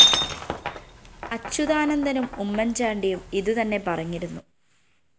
അച്യുതാനന്ദനും ഉമ്മന്‍ചാണ്ടിയും ഇതുതന്നെ പറഞ്ഞിരുന്നു